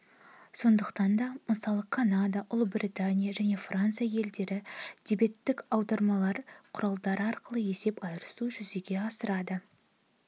сондықтан да мысалы канада ұлыбритания және франция елдері дебеттік аударымдар құралдары арқылы есеп айырысуды жүзеге асырады